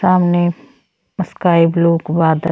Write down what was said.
सामने sky blue क बाद --